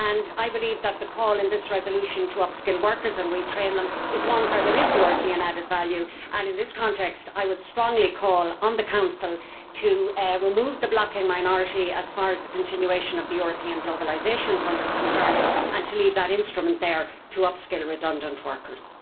I believe that the call in this resolution to upskill workers and retrain them is one where there is European added value, and in this context I would strongly call on the Council to remove the blocking minority as far as the continuation of the European Globalisation Fund is concerned and to leave that instrument there to upskill redundant workers.